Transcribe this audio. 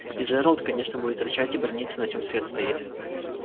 и джералд конечно будет рычать и браниться на чём свет стоит